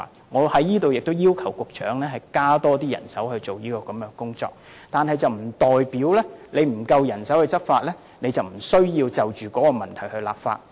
我促請局長增聘人手負責這項工作，但沒有足夠人手執法並不表示無須就一些問題立法。